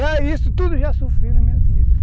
É isso, tudo já sofri na minha vida.